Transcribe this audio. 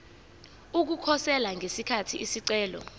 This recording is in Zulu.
ukukhosela ngesikhathi isicelo